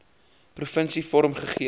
provinsie vorm gegee